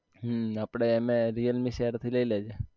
હમ આપડે mi realme share થી લઇ લેજે